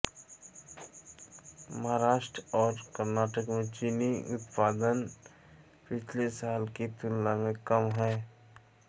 महाराष्ट्र और कर्नाटक में चीनी उत्पादन पिछले साल की तुलना में कम है